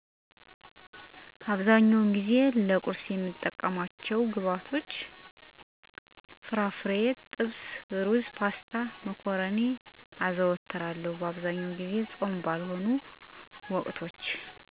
አብዛኛውን ጊዜ ፆም ባልሆኑባቸው ጠዋቶች ቁርስ መብላትን እወዳለሁ። ለቁርስም ብዙውን ጊዜ እንደ የእንቁላል አና እንጀራ ፍርፍር፣ ጥብስ፣ ሩዝ፣ ፓስታ፣ እና መኮረኒ አዘወትራለሁ።